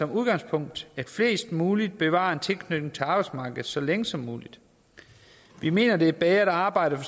udgangspunkt at flest mulige bevarer en tilknytning til arbejdsmarkedet så længe som muligt vi mener at det er bedre at arbejde for